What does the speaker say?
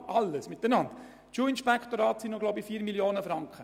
Die Schulinspektorate kosten, glaube ich, 4 Mio. Franken.